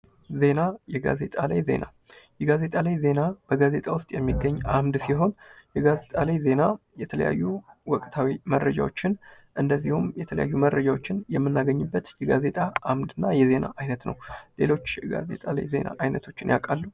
ዜና ፦ የጋዜጣ ላይ ዜና ፦ የጋዜጣ ላይ ዜና በጋዜጣ ውስጥ የሚገኝ አምድ ሲሆን የጋዜጣ ላይ ዜና የተለያዩ ወቅታዊ መረጃዎችን እንዲሁም የተለያዩ መረጃዎችን የምናገኝበት የጋዜጣ አምደና የዜና አይነት ነው ። ሌሎች የጋዜጣ ላይ ዜና አይነቶችን ያውቃሉ ?